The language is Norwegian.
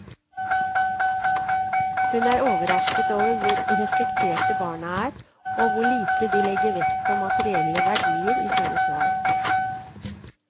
Hun er overrasket over hvor reflekterte barna er, og hvor lite de legger vekt på materielle verdier i sine svar.